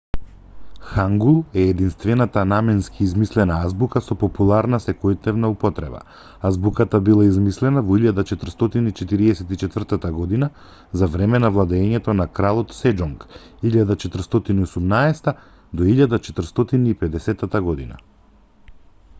хангул е единствената наменски измислена азбука со популарна секојдневна употреба. азбуката била измислена во 1444 г. за време на владеењето на кралот сеџонг 1418-1450 г.